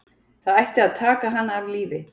Það ætti að taka hana af lífi